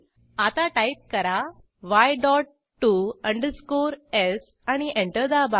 आता टाईप करा y dot t o underscore s आणि एंटर दाबा